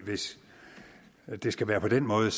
hvis det skal være på den måde